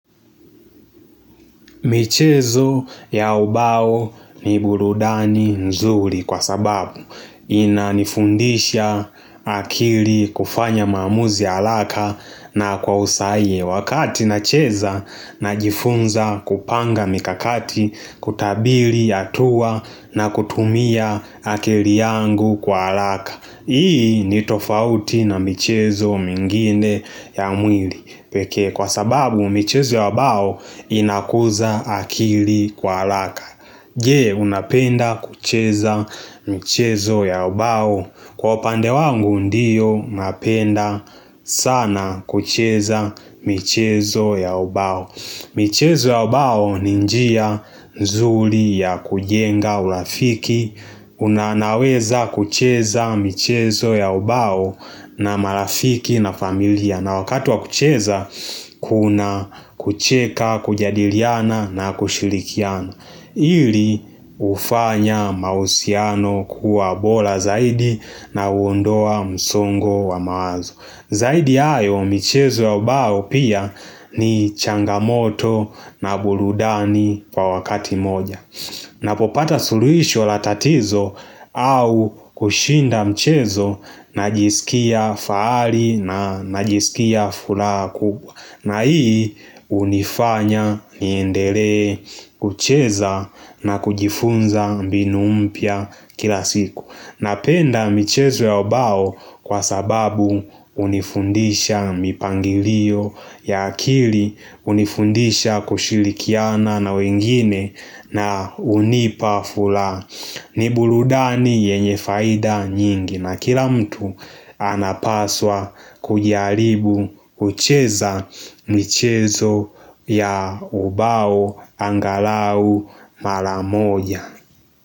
Michezo ya ubao ni burudani nzuri kwa sababu inanifundisha akili kufanya maamuzi haraka na kwa usahihi wakati nacheza najifunza kupanga mikakati kutabiri hatua na kutumia akili yangu kwa haraka. Hii ni tofauti na michezo mengine ya mwili peke kwa sababu michezo ya ubao inakuza akili kwa haraka Je unapenda kucheza michezo ya ubao? Kwa upande wangu ndiyo napenda sana kucheza michezo ya ubao michezo ya ubao ni njia nzuri ya kujenga urafiki, unanaweza kucheza michezo ya ubao na marafiki na familia. Na wakati wa kucheza, kuna kucheka, kujadiliana na kushirikiano. Ili hufanya mahusiano kuwa bora zaidi na huondoa msongo wa mawazo. Zaidi ya hayo michezo ya ubao pia ni changamoto na burudani kwa wakati moja Napopata suluhisho la tatizo au kushinda mchezo najisikia fahari najisikia furaha kubwa na hii hunifanya niendelee kucheza na kujifunza mbinu mpya kila siku Napenda michezo ya ubao kwa sababu hunifundisha mipangilio ya akili, hunifundisha kushirikiana na wengine na hunipa furaha. Ni burudani yenye faida nyingi na kila mtu anapaswa kujiaribu kucheza michezo ya ubao angalau maramoja.